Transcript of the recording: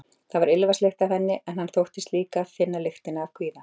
Það var ilmvatnslykt af henni, en hann þóttist líka finna lyktina af kvíða.